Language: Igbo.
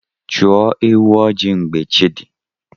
Chụọ ewu ojii mgbe chi dị.